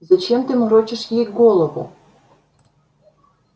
зачем ты морочишь ей голову